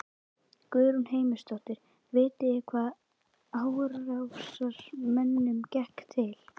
Guðrún Heimisdóttir: Vitið þið hvaða árásarmönnunum gekk til?